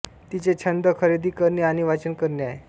तिचे छंद खरेदी करणे आणि वाचन करणे आहे